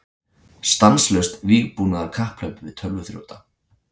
Stanslaust vígbúnaðarkapphlaup við tölvuþrjóta